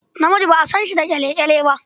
Namiji ba a san shi da ƙyale-ƙyale ba.